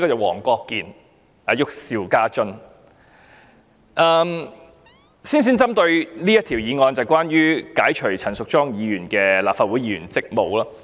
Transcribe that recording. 我先針對這項議案發言，即關於解除陳淑莊議員的立法會議員職務。